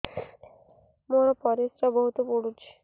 ମୋର ପରିସ୍ରା ବହୁତ ପୁଡୁଚି